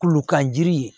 Kulokan jiri